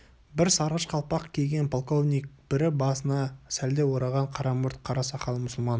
бірі сарғыш қалпақ киген полковник бірі басына сәлде ораған қара мұрт қара сақал мұсылман